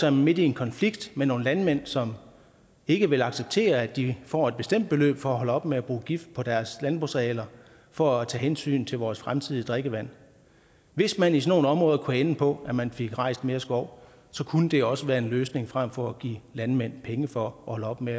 er man midt i en konflikt med nogle landmænd som ikke vil acceptere at de får et bestemt beløb for at holde op med at bruge gift på deres landbrugsarealer for at tage hensyn til vores fremtidige drikkevand hvis man i sådan nogle områder kunne ende på at man fik rejst mere skov så kunne det også være en løsning frem for at give landmænd penge for at holde op med